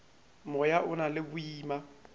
moya o na le boima